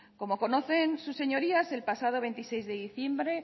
como conocen sus señorías en el pasado veintiséis de diciembre